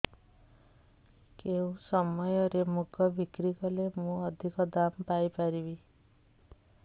କେଉଁ ସମୟରେ ମୁଗ ବିକ୍ରି କଲେ ମୁଁ ଅଧିକ ଦାମ୍ ପାଇ ପାରିବି